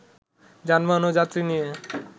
যানবাহন ও যাত্রী নিয়ে